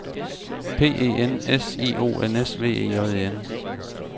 P E N S I O N S V E J E N